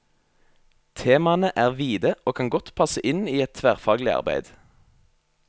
Temaene er vide og kan godt passe inn i et tverrfaglig arbeid.